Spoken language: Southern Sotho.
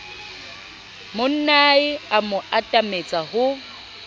monnae a mo atametsa ho